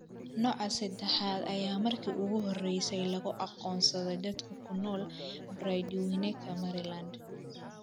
Nooca sedexaad ayaa markii ugu horreysay lagu aqoonsaday dad ku nool Brandywineka, Maryland.